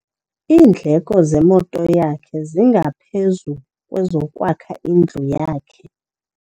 Iindleko zemoto yakhe zingaphezu kwezokwakha indlu yakhe.